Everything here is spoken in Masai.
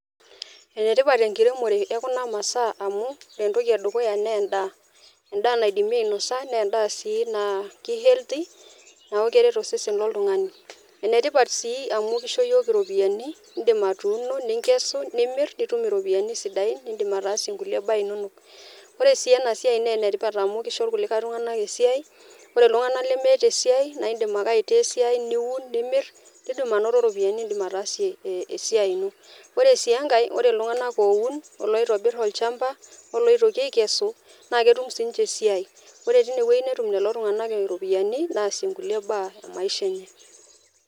Enetipat ekitemore ekuna masaa amu, etoki edukuya naa edaa, edaa naidimi ainosa edaa si naa ki healthy neaku keret osesen loltungani. Enetipat si amu kisho yiook iropiyiani idim atuuno ningesu nimir nitum iropiyiani sidain nidim ataasie kulie baa inono. Ore si ena siai naa enetipat amu kisho kulie tungana esiai ore iltungana lemeeta esiai naa idim ake aitaa esiai niu nimir nidim anoto ropiyiani nidim ataasie esia ino. Ore si enkae ore iltungana oun oloitobir olchamba oloitoki aikesu naa ketum si ninche esiai, ore teine wueji netum lelo tungana iropiyiani naasie kulie baa emaisha ennye.